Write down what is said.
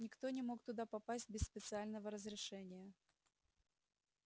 никто не мог туда попасть без специального разрешения